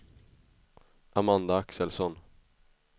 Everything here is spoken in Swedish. Amanda Axelsson